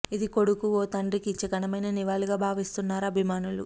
ఇది కొడుకు ఓ తండ్రికి ఇచ్చే ఘనమైన నివాళిగా భావిస్తున్నారు అభిమానులు